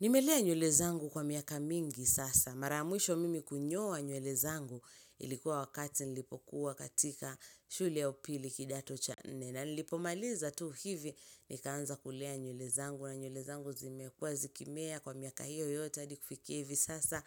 Nimelea nywele zangu kwa miaka mingi sasa. Mara ya mwisho mimi kunyoa nywele zangu, ilikuwa wakati nilipokuwa katika shule ya upili kidato cha nne. Na nilipomaliza tu hivi, nikaanza kulea nywele zangu na nywele zangu zimekuwa zikimea kwa miaka hiyo yote hadi kufikia hivi sasa.